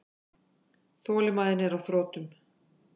Þolinmæðin á þrotum.